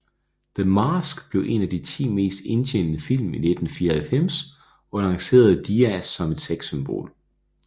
The Mask blev en af de 10 mest indtjenende film i 1994 og lancerede Diaz som et sexsymbol